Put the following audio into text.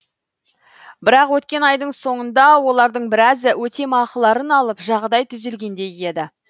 бірақ өткен айдың соңында олардың біразы өтемақыларын алып жағдай түзелгендей еді